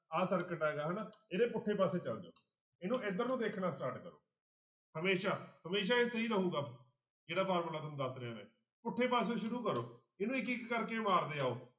ਆਹ circuit ਹੈਗਾ ਹਨਾ ਇਹਦੇ ਪੁੱਠੇ ਪਾਸੇ ਚਲੇ ਜਾਓ ਇਹਨੂੰ ਇੱਧਰ ਨੂੰ ਦੇਖਣਾ start ਕਰੋ ਹਮੇਸ਼ਾ ਹਮੇਸ਼ਾ ਇਹ ਸਹੀ ਰਹੇਗਾ, ਜਿਹੜਾ ਫਾਰਮੁਲਾ ਤੁਹਾਨੂੰ ਦੱਸ ਰਿਹਾਂ ਮੈਂ, ਪੁੱਠੇ ਪਾਸਿਓ ਸ਼ੁਰੂ ਕਰੋ ਇਹਨੂੰ ਇੱਕ ਇੱਕ ਕਰਕੇ ਮਾਰਦੇ ਜਾਓ।